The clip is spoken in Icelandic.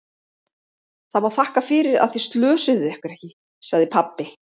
Það má þakka fyrir að þið slösuðuð ykkur ekki, sagði pabbi.